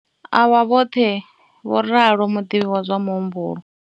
A vha vhoṱhe, vho ralo muḓivhi wa zwa muhumbulo.